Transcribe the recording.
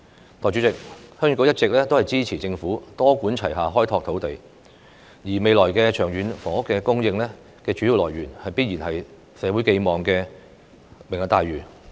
代理主席，鄉議局一直支持政府多管齊下開拓土地，而未來長遠房屋供應的主要來源，必然是社會寄望的"明日大嶼"計劃。